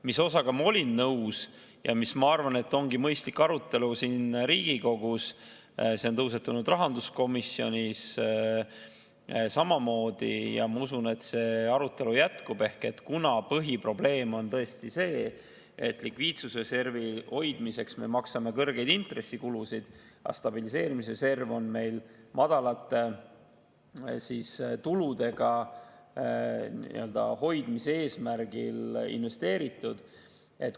Mis osaga ma olen nõus ja mis, ma arvan, ongi mõistlik arutelu siin Riigikogus – see on tõusetunud rahanduskomisjonis samamoodi ja ma usun, et see arutelu jätkub –, on see, et põhiprobleem on tõesti see, et likviidsusreservi hoidmiseks me maksame kõrgeid intressikulusid, aga stabiliseerimisreserv on meil madalate tuludega hoidmise eesmärgil investeeritud.